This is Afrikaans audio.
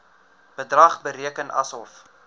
bedrag bereken asof